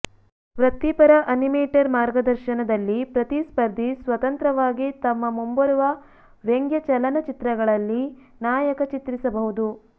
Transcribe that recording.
ವೃತ್ತಿಪರ ಅನಿಮೇಟರ್ ಮಾರ್ಗದರ್ಶನದಲ್ಲಿ ಪ್ರತಿ ಸ್ಪರ್ಧಿ ಸ್ವತಂತ್ರವಾಗಿ ತಮ್ಮ ಮುಂಬರುವ ವ್ಯಂಗ್ಯಚಲನಚಿತ್ರಗಳಲ್ಲಿ ನಾಯಕ ಚಿತ್ರಿಸಬಹುದು